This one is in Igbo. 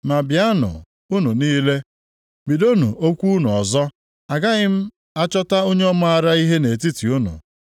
“Ma bịanụ, unu niile, bidonụ okwu unu ọzọ! Agaghị m achọta onye maara ihe nʼetiti unu.